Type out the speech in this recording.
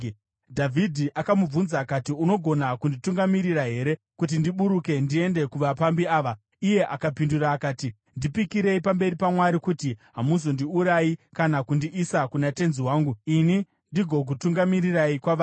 Dhavhidhi akamubvunza akati, “Ungagona kunditungamirira here kuti ndiburuke ndiende kuvapambi ava.” Iye akapindura akati, “Ndipikirei pamberi paMwari kuti hamuzondiurayi kana kundiisa kuna tenzi wangu, ini ndigokutungamirirai kwavari.”